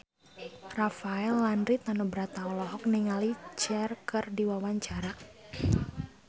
Rafael Landry Tanubrata olohok ningali Cher keur diwawancara